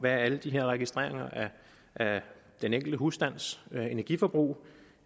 alle de her registreringer af den enkelte husstands energiforbrug